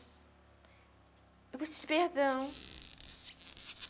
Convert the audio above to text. Eu preciso de perdão.